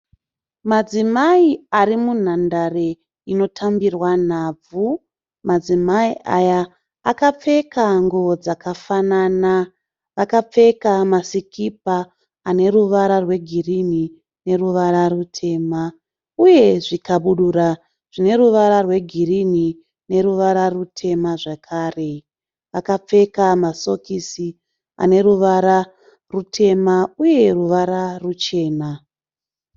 Madzimai ari munhandare inotambirwa nhabvu. Madzimai aya akapfeka nguwo dzakafanana . Akapfeka masikipa aneruvara regirini neruvara rutema. Uye zvikabudura zvine ruvara rwegirini neruvara rurema zvakare . Akapfeka masokisi aneruvara rutema uye ruvara ruchena.